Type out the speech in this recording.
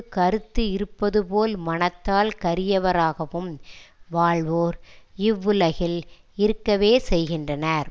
கறுத்து இருப்பதுபோல் மனத்தால் கரியவராகவும் வாழ்வோர் இவ்வுலகில் இருக்கவே செய்கின்றனர்